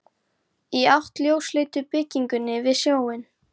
Í átt að ljósleitu byggingunni við sjóinn.